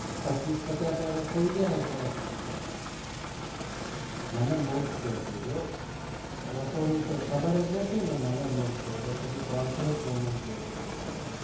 પચીસ પચાસ વરસ થઇ કયા હશે પછી મને મુર્ખ કે છે જો રસોડું તો ખબર નથી corporate women કે છે